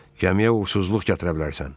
Gəmiyə uğursuzluq gətirə bilərsən.